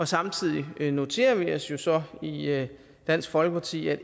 samtidig noterer vi os så i dansk folkeparti at